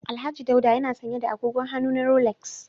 Alhaji Daula yana sanye da agogon hannu na Rolex